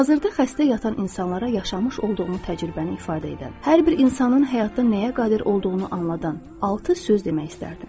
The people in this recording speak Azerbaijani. Hazırda xəstə yatan insanlara yaşamış olduğumu təcrübəni ifadə edən, hər bir insanın həyatda nəyə qadir olduğunu anladan altı söz demək istərdim.